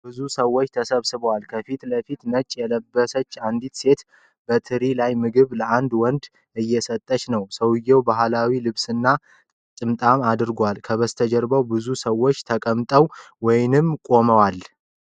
ብዙ ሰዎች ተሰብስበዋል። ከፊት ለፊት፣ ነጭ የለበሰች አንዲት ሴት በትሪ ላይ ምግብ ለአንድ ወንድ እየሰጠች ነው። ሰውየው ባህላዊ ልብስና ጥምጣም አድርጓል። ከበስተጀርባ ብዙ ሰዎች ተቀምጠዋል ወይም ቆመዋል።